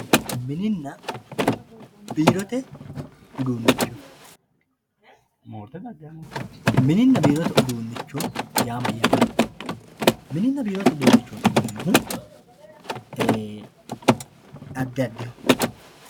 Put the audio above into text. mininna biirote uduunnicho mininna biirote uduunnicho yaa mayyate? mininna biirote uduunicho yineemmohu ee addi addiho.